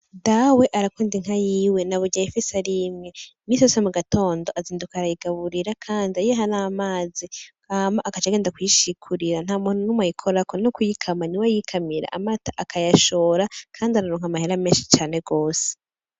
Dawe arakunda inka yiwe naburya ayifise ari imwe. Misi yose mu gatondo azinduka arayigaburira kandi ayiha n'amazi hama agaca agenda kuyishikurira. Nta muntu numwe ayikorako, n'ukuyikama niwe ayikamira, amata akayashora kandi araronka amahera menshi cane gose.